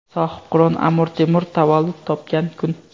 sohibqiron Amir Temur tavallud topgan kun.